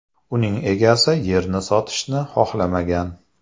Uning egasi yerni sotishni xohlamagan .